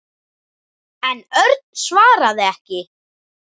En Örn svaraði ekki.